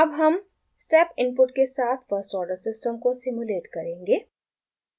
अब हम step input के साथ first order system को सिम्युलेट करेंगे